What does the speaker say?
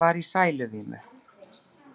Hún var í sæluvímu.